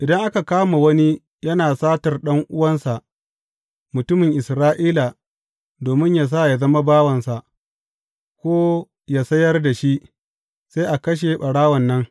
Idan aka kama wani yana satar ɗan’uwansa mutumin Isra’ila domin yă sa ya zama bawansa, ko yă sayar da shi, sai a kashe ɓarawon nan.